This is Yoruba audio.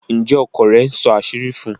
Njé ọkọ rẹ̀ nsó àṣírí fún?